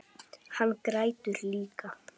Hann grætur líka.